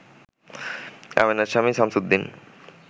আমেনার স্বামী সামছুদ্দিন